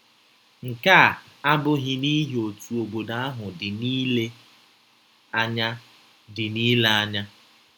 Nke a abụghị n’ihi otú obodo ahụ dị n’ile anya dị n’ile anya.